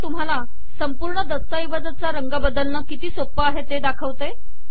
मी आता तुम्हाला संपूर्ण दस्तऐवजाचा रंग बदलणे किती सोपे आहे ते दाखवते